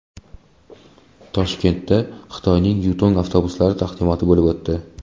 Toshkentda Xitoyning Yutong avtobuslari taqdimoti bo‘lib o‘tdi.